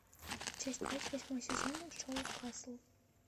часть пять восьмой сезон шоу касл